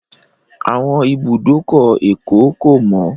Àwọn ibùdókọ̀ Èkó kò mọ́